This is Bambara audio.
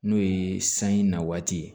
N'o ye sanji na waati ye